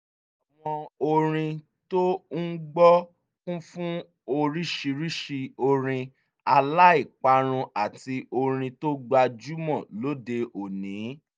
àwọn orin tó ń gbọ́ kú fún oríṣiríṣi orin aláìparun àti orin tó gbajúmọ̀ lóde òní